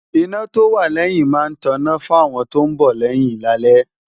iná tó wà lẹ́yìn máa ń tọná fáwọn tó ń bọ̀ lẹ́yìn lálẹ́